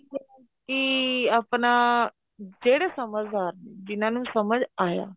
ਕੀ ਆਪਣਾ ਜਿਹੜੇ ਸਮਝਦਾਰ ਜਿਹਨਾ ਨੂੰ ਸਮਝ ਆਇਆ